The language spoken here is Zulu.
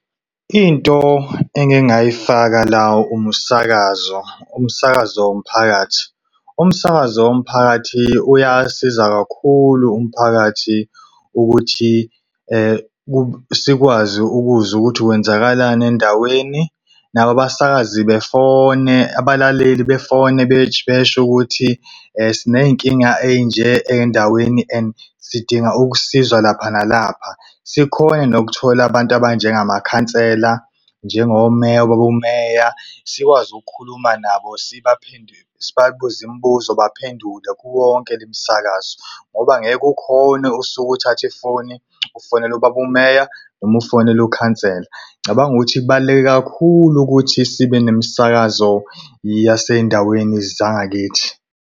Into engingayifaka la umsakazo, umsakazo womphakathi. Umsakazo womphakathi uyasiza kakhulu umphakathi ukuthi sikwazi ukuzwa ukuthi kwenzakalani endaweni, nabo abasakazi befone, abalaleli befone besho ukuthi siney'nkinga ey'nje endaweni and sidinga ukusizwa lapha nalapha. Sikhone nokuthola abantu abanjengamakhansela njengomeya, obabumeya sikwazi ukukhuluma nabo sibaphinde sibabuze imibuzo baphendule kuwo wonke le msakazo. Ngoba ngeke ukhone usukuthathe ifoni ufonele ubabumeya, noma ufonele ukhansela. Ngicabanga ukuthi kubaluleke kakhulu ukuthi sibe nemisakazo yasendaweni zangakithi.